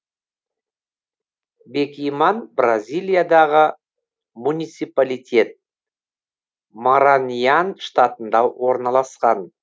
бекиман бразилиядағы муниципалитет мараньян штатында орналасқан